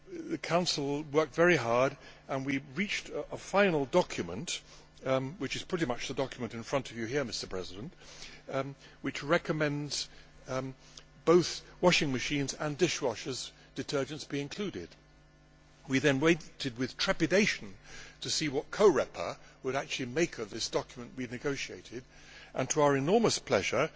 The Council worked very hard and we reached a final document which is pretty much the document in front of you here which recommends that both washing machine and dishwasher detergents be included. We then waited with trepidation to see what Coreper would actually make of this document we had negotiated and to our enormous pleasure